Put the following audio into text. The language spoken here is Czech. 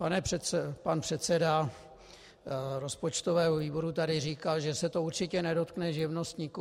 Pan předseda rozpočtového výboru tady říkal, že se to určitě nedotkne živnostníků.